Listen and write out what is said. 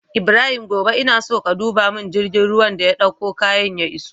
Ibrahim gobe ina so ka duba mun girgin ruwan da ya ɗauko kayan ya iso